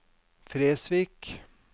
Fresvik